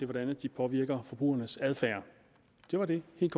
hvordan de påvirker forbrugernes adfærd det var det helt